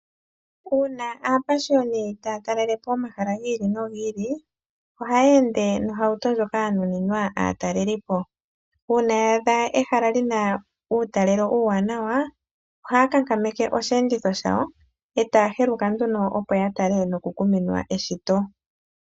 Uuna aapashiyoni taya talelepo omahala gi ili nogi ili, ohaya ende nohauto ndjoka ya nuninwa aatalelipo. Uuna ya adha ehala lina uutalelo uuwanawa, ohaya kankameke oshiyenditho shawo e taya heluka opo ya tale noku kuminwa eshito.